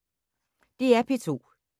DR P2